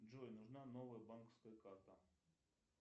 джой нужна новая банковская карта